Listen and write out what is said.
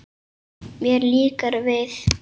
Mér líkar við